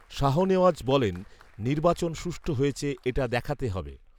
শাহনেওয়াজ বলেন, নির্বাচন সুষ্ঠূ হয়েছে এটা দেখাতে হবে